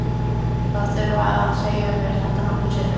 Það þurfti að segja mér þetta nokkrum sinnum.